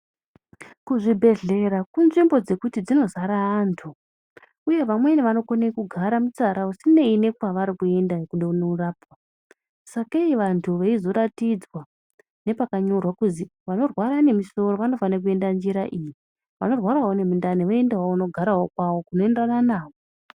Ku zvibhedhlera ku nzvimbo dzekuti dzino zara antu uye vamweni vano kone kugara mutsara usineyi ne kwavari kuenda kude kuno rapwa sakee vantu veizo ratidzwa ne paka nyorwa kuzi vano rwara ne musoro vano fane kuenda njira iyi vano rwarawo ne mundani voendewo kuno garawo kwavo kuno enderana navo.